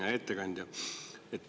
Hea ettekandja!